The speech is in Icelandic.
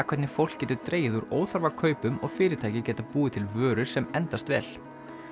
hvernig fólk getur dregið úr óþarfa kaupum og fyrirtæki geta búið til vörur sem endast vel